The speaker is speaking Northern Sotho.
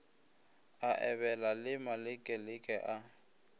a ebela le malekeleke a